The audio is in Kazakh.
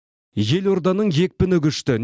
елорданың екпіні күшті